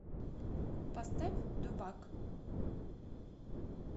поставь дубак